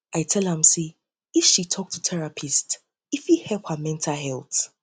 i tell am i tell am sey if she tok to therapist e fit help her mental health